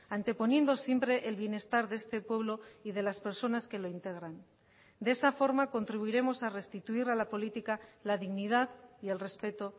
anteponiendo siempre el bienestar de este pueblo y de las personas que lo integran de esa forma contribuiremos a restituir a la política la dignidad y el respeto